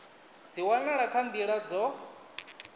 dzi wanala kha nḓila dzo